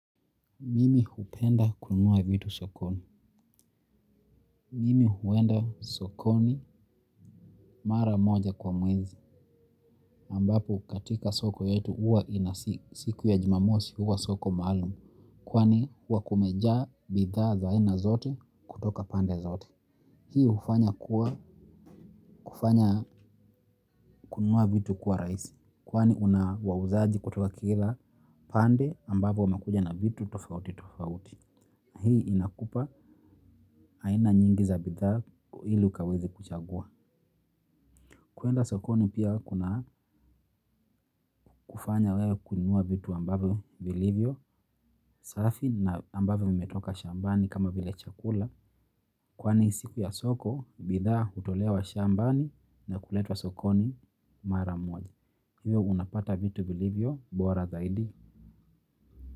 Mimi hupenda kunua vitu sokoni. Mimi huenda sokoni mara moja kwa mwenzi, ambapo katika soko yetu huwa ina siku ya jumamosi huwa soko maalum. Kwani huwa kumejaa bidhaa za aina zote kutoka pande zote. Hii hufanya kuwa kufanya kununua vitu kuwa rahisi. Kwani una wauzaji kutoka kila pande ambapo wamakuja na vitu tofauti tofauti. Hii inakupa aina nyingi za bidhaa ili ukaweze kuchagua. Kuenda sokoni pia kuna kufanya wewe kuinua vitu ambavyo vilivyo. Safi na ambavyo vimetoka shambani kama vile chakula. Kwani siku ya soko bidhaa hutolewa shambani na kuletwa sokoni mara moja. Hivyo unapata vitu vilivyo bora zaidi.